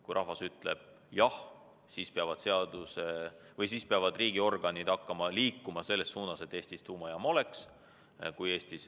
Kui rahvas ütleb jah, siis peavad riigiorganid hakkama liikuma selles suunas, et Eestis tuumajaam oleks.